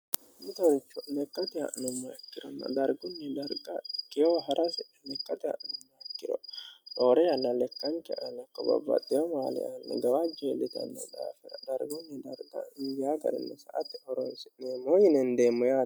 litorukho lekate ha'nimmo ikkiranna dargunni darga keyoo ha'rasi likqate ha'nimmo ikkiro roore yanna lekkancha ale qobabwaxeo maali aanni gawa jeellitanni dhaafira dargunyi darga garinni sa atti horonsi'neemmoo yinendeemmo yaante